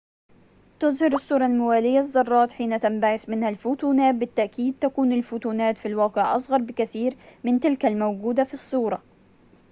تُظهرالصورة الموالية الذرات حين تنبعث منها الفوتونات بالتأكيد تكون الفوتونات في الواقع أصغر بكثير من تلك الموجودة في الصورة